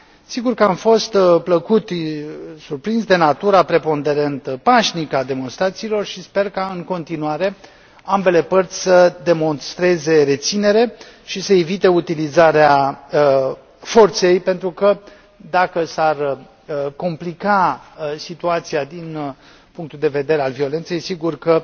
Sigur că am fost plăcut surprins de natura preponderent pașnică a demonstrațiilor și sper ca în continuare ambele părți să demonstreze reținere și să evite utilizarea forței, pentru că, dacă s ar complica situația din punctul de vedere al violenței, sigur că